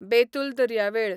बेतूल दर्यावेळ